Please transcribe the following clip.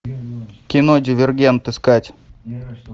кино дивергент искать